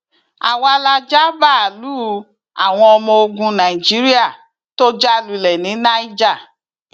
àwa la ja báàlúù àwọn ọmọ ogun nàìjíríà tó já lulẹ ní niger